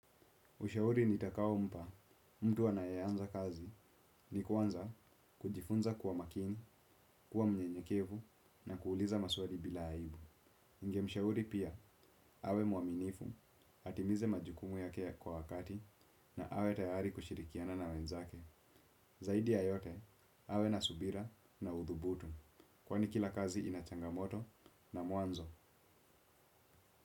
Ushauri nitakao mpa mtu anayeanza kazi ni kuanza kujifunza kuwa makini, kuwa mnyenyekevu na kuuliza masuali bila aibu. Ninge mshauri pia awe muaminifu, atimize majukumu ya ke kwa wakati na awe tayari kushirikiana na wenzake. Zaidi ya yote awe na subira na uthubutu. Kwani kila kazi inachangamoto na mwanzo.